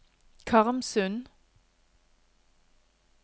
Karmsund